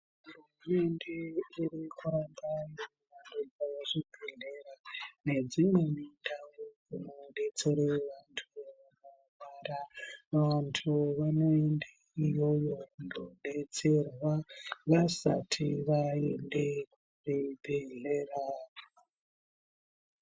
Hurumende irikuaka zvibhedhlera nedzimweni ndau dzinodetsere vantu vanorwara. Vantu vanoende iyoyo kunodetserwa vasati vaende kuzvibhedhlera.